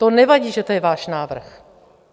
To nevadí, že je to váš návrh.